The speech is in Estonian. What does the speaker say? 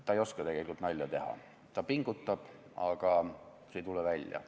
Ta ei oska tegelikult nalja teha, ta pingutab, aga see ei tule välja.